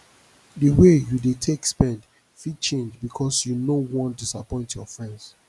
di way yu dey take spend fit change bikos yu no wan disappoint yur friends